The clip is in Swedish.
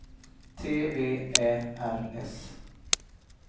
T V Ä R S